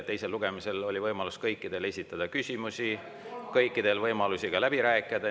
Teisel lugemisel oli võimalus kõikidel esitada küsimusi, kõikidel oli võimalus läbi rääkida.